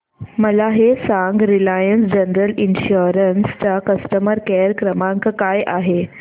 मला हे सांग रिलायन्स जनरल इन्शुरंस चा कस्टमर केअर क्रमांक काय आहे